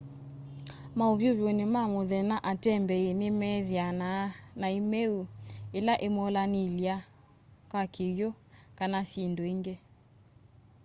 maũvyũvũnĩ ma mũthenya atembeĩ nĩmethĩanaa na ĩmeũ ĩla ĩmolanĩalya na kĩw'ũ. kana syĩndũ ĩngĩ